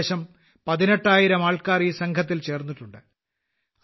ഏകദേശം പതിനെട്ടായിരം ആൾക്കാർ ഈ സംഘത്തിൽ ചേർന്നിട്ടുണ്ട്